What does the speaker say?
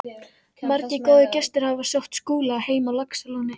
Margir góðir gestir hafa sótt Skúla heim á Laxalóni.